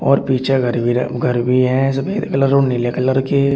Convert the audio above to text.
और पीछे घर भी र घर भी है सफेद कलर और नीले कलर के --